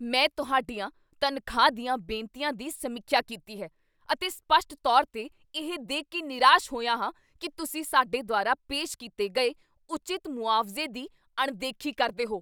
ਮੈਂ ਤੁਹਾਡੀਆਂ ਤਨਖਾਹ ਦੀਆਂ ਬੇਨਤੀਆਂ ਦੀ ਸਮੀਖਿਆ ਕੀਤੀ ਹੈ, ਅਤੇ ਸਪੱਸ਼ਟ ਤੌਰ 'ਤੇ, ਇਹ ਦੇਖ ਕੇ ਨਿਰਾਸ਼ ਹੋਇਆ ਹਾਂ ਕੀ ਤੁਸੀਂ ਸਾਡੇ ਦੁਆਰਾ ਪੇਸ਼ ਕੀਤੇ ਗਏ ਉਚਿਤ ਮੁਆਵਜ਼ੇ ਦੀ ਅਣਦੇਖੀ ਕਰਦੇ ਹੋ।